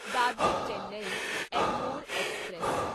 Dadar Chennai Egmore express